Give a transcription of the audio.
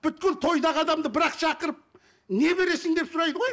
тойдағы адамды бір ақ шақырып не бересің деп сұрайды ғой